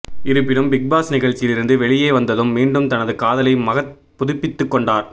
இருப்பினும் பிக்பாஸ் நிகழ்ச்சியில் இருந்து வெளியே வந்ததும் மீண்டும் தனது காதலை மகத் புதுப்பித்து கொண்டார்